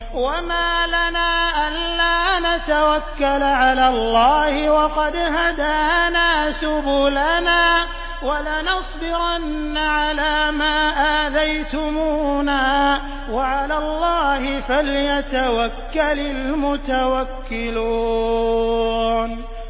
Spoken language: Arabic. وَمَا لَنَا أَلَّا نَتَوَكَّلَ عَلَى اللَّهِ وَقَدْ هَدَانَا سُبُلَنَا ۚ وَلَنَصْبِرَنَّ عَلَىٰ مَا آذَيْتُمُونَا ۚ وَعَلَى اللَّهِ فَلْيَتَوَكَّلِ الْمُتَوَكِّلُونَ